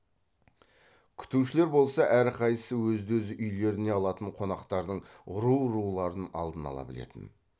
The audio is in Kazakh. күтушілер болса әрқайсысы өзді өз үйлеріне алатын қонақтардың ру руларын алдын ала білетін